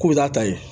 K'u bɛ taa ye